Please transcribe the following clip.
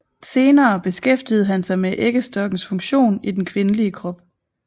Senere beskæftigede han sig med æggestokkens funktion i den kvindelige krop